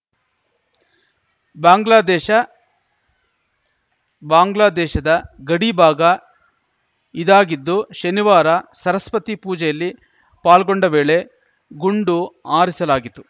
ಬಾಂಗ್ಲಾದೇಶ ಬಾಂಗ್ಲಾದೇಶದ ಗಡಿ ಭಾಗ ಇದಾಗಿದ್ದು ಶನಿವಾರ ಸರಸ್ವತಿ ಪೂಜೆಯಲ್ಲಿ ಪಾಲ್ಗೊಂಡ ವೇಳೆ ಗುಂಡು ಆರಿಸಲಾಗಿತ್ತು